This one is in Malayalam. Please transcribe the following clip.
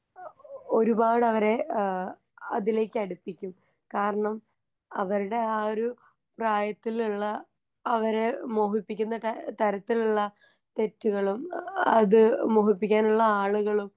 ആ ഓ ഓ ഒരുപാടവരെ ആ അതിലേക്കടുപ്പിക്കും കാരണം അവർടെ ആ ഒരു പ്രായത്തില്ള്ള അവരെ മോഹിപ്പിക്കുന്ന ത തരത്തിലുള്ള തെറ്റുകളും ആ അത് മോഹിപ്പിക്കാനുള്ള ആളുകളും.